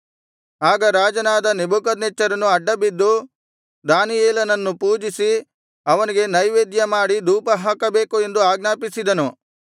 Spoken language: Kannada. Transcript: ಆಗ ರಾಜನಾದ ನೆಬೂಕದ್ನೆಚ್ಚರನು ಅಡ್ಡಬಿದ್ದು ದಾನಿಯೇಲನನ್ನು ಪೂಜಿಸಿ ಅವನಿಗೆ ನೈವೇದ್ಯಮಾಡಿ ಧೂಪ ಹಾಕಬೇಕು ಎಂದು ಆಜ್ಞಾಪಿಸಿದನು